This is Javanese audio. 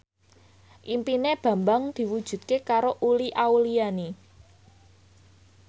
impine Bambang diwujudke karo Uli Auliani